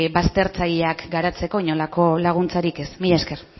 baztertzaileak garaitzeko inolako laguntzarik ez mila esker